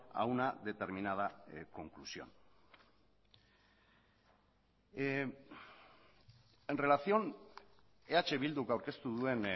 a una determinada conclusión en relación eh bilduk aurkeztu duen